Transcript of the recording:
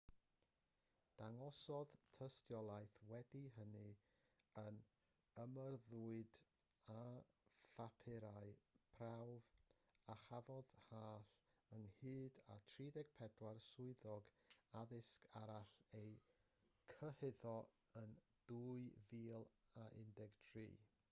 dangosodd tystiolaeth wedi hynny yr ymyrrwyd â phapurau prawf a chafodd hall ynghyd a 34 swyddog addysg arall eu cyhuddo yn 2013